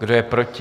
Kdo je proti?